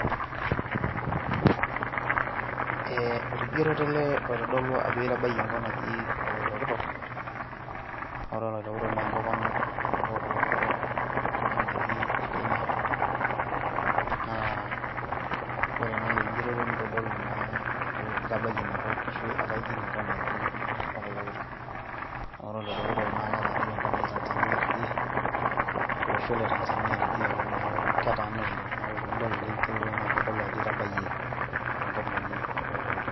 Ee orkigerotoeleoitodolu ajo itabayie enkop naji oloitoktok .Ore oloitoktok naa enkop ang ena kop ang etii e kenya , naa ore naa ele kigeroto nitodolu naa ajo itabayie ina kop ashu ashu etaa ijing enkop naji oloitoktok, naa ore oloitoktok naa ketaaniki enkop naji tanzania tiidie, olosho le tanzania tidiaalo niaku ketaana oleng . Niaku tenidolo ele kigeroto naa kitodolu ajo itabayie enkop naji oloitoktok.